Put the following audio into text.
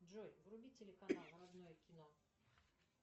джой вруби телеканал родное кино